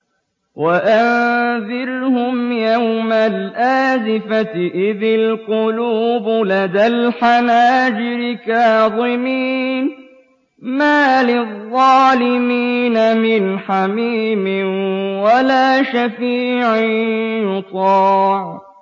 وَأَنذِرْهُمْ يَوْمَ الْآزِفَةِ إِذِ الْقُلُوبُ لَدَى الْحَنَاجِرِ كَاظِمِينَ ۚ مَا لِلظَّالِمِينَ مِنْ حَمِيمٍ وَلَا شَفِيعٍ يُطَاعُ